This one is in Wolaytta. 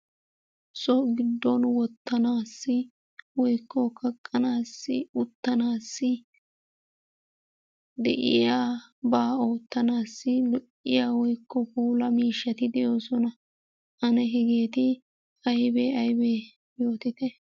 So giddon wottanaassi woykko kaqqanaassi uttanaassi de'iyabaa oottanaassi lo'iya woykko puulaa miishshaati de'oosona ane hegeeti aybee aybee yootitte.